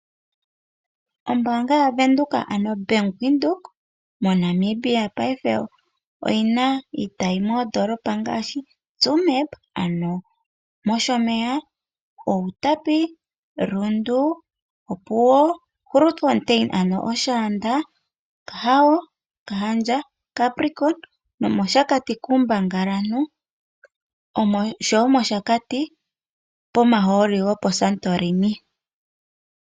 Ombaanga yaVenduka ano oBank Windhoek moNamibia oyina iitayi moondoolopa ngaashi: Tsumeb ano mOshomeya, Outapi, Rundu, Grootfontein ano Oshaanda, Okahao, Okahandja, Capricon, nomOshakati kuumbangalantu oshowo mOshakati pomahooli go poSantorini